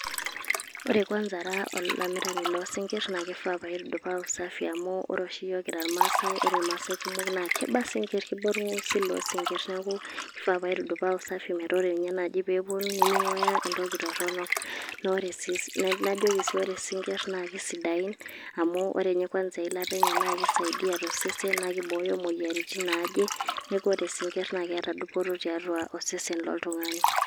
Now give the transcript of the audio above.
Ore kwanza ara olamirani lo sinkirr, ba kifaa paaku safi amu ore oshi yiok kira irmaasai, ore irmaasai kumok na kiba isinkirr. Kiba orng'usil lo sinkirr. Neeku kifaa paitudupaa usafi metaa ore nye nai peponu, niming'ua entoki torronok. Ore si najoki si ore isinkirr kesidain, amu ore nye kwansa eilata enye na kisaidia tosesen, na kibooyo imoyiaritin naaje. Neeku ore isinkirr na keeta dupoto tiatu osesen loltung'ani.